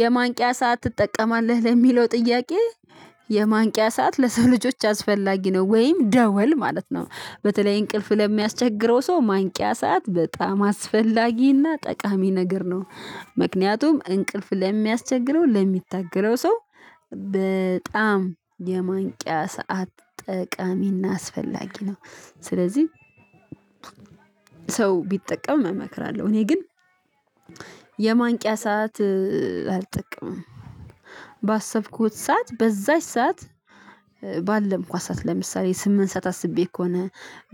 የማንቂያ ሰዓት ትጠቀማለህ? ለሚለው ጥያቄ የማንቂያ ሰዓት ለሰው ልጆች አስፈላጊ ነው ወይም ደወል ማለት ነው በተለይ እንቅልፍ ለሚያስቸግረው ሰው ማንቂያ ሰዓት በጣም አስፈላጊና ጠቃሚ ነገር ነው ምክንያቱም እንቅልፍ ለሚያስቸግረው ለሚታገለው ሰው በጣም የማንቂያ ሰዓት ጠቃሚና አስፈላጊ ነው ስለዚህ ሰው ቢጠቀም እመክራለሁ እኔ ግን የማንቂያ ሰዓት አልጠቀምም ባሰብኩት ሰዓት በዛች ሰዓት ባለምኳት ሰዓት ለምሳሌ ስምንት ሰዓት አስቤ ከሆነ